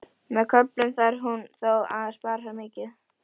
Með köflum þarf hún þó að spara mikið.